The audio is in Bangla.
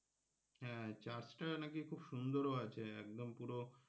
হ্যাঁ church টা নাকি খুব সুন্দর ও আছে একদম পুরো,